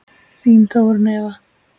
Þín Þórunn Eva.